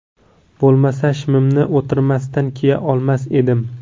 Bo‘lmasa, shimimni o‘tirmasdan kiya olmas edim.